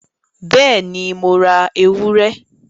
Bẹ́ẹ̀ni, Mo ra ewúrẹ?